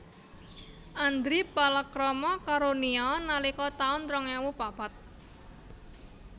Andri palakrama karo Nia nalika taun rong ewu papat